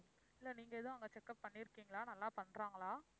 இல்ல நீங்க எதுவும் அங்க checkup பண்ணி இருக்கீங்களா? நல்லா பண்றாங்களா?